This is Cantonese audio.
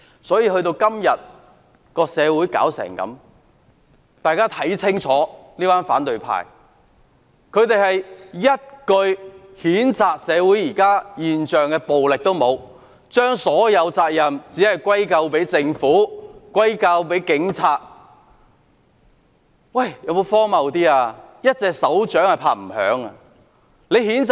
時至今天，社會發展至如斯地步，大家可以清楚看到，這群反對派對於現時的社會暴力現象連一句譴責也沒有，並將所有責任歸咎於政府及警方，真的是十分荒謬。